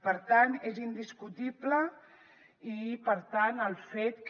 per tant és indiscutible i per tant el fet que